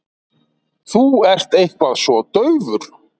Þú ert eitthvað svo daufur.